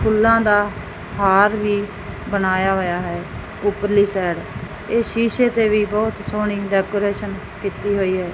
ਫੁੱਲਾਂ ਦਾ ਹਾਰ ਵੀ ਬਣਾਇਆ ਹੋਇਆ ਹੈ ਉਪਰਲੀ ਸੈਡ ਇਹ ਸ਼ੀਸ਼ੇ ਤੇ ਵੀ ਬਹੁਤ ਸੋਹਣੀ ਡੈਕੋਰੇਸ਼ਨ ਕੀਤੀ ਹੋਈ ਐ।